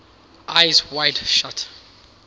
eyes wide shut